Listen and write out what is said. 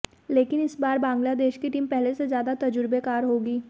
लेकिन इस बार बांग्लादेश की टीम पहले से ज़्यादा तजुर्बेकार होगी